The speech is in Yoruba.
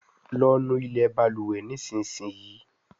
lọ nú ilé balùwè nísìsiyìí!